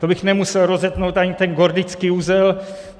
To bych nemusel rozetnout ani ten gordický uzel.